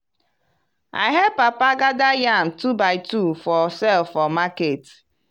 i help papa gada yam two by two for sale for market.